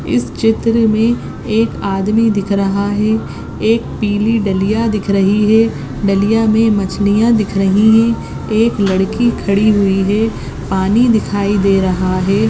इस चित्र मे एक आदमी दिख रहा है एक पीली डलीया दिख रही है डलिया मे मछलिया दिख रही है एक लड़की खाड़ी हुई है पानी दिखाई दे रहा है।